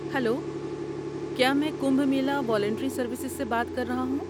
Hello, کیا میں Kumbh Mela volunteer services سے بات کر رہا ہوں؟